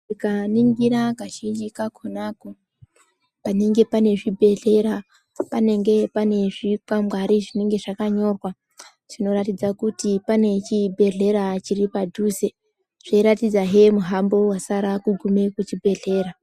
Mukaningira kazhinji kakona panenge pane zvibhedhlera panenge pane zvikwangwari zvinenge zvakanyogwa zvinoratidza kuti pane chibhedhleya chiri padhuze zveyiratidza hee muhambo wasara kugume kuchibhedhlera.